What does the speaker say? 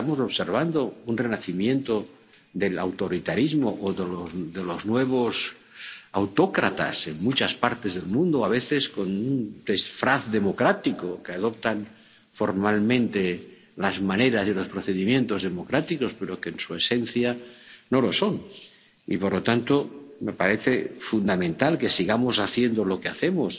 Estamos observando un renacimiento del autoritarismo o de los nuevos autócratas en muchas partes del mundo, a veces con un disfraz democrático, que adoptan formalmente las maneras y los procedimientos democráticos, pero que, en su esencia, no lo son. Y, por lo tanto, me parece fundamental que sigamos haciendo lo que hacemos